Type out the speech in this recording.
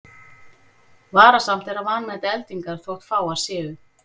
Varasamt er að vanmeta eldingar þótt fáar séu.